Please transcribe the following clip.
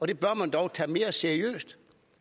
det bør man dog tage mere seriøst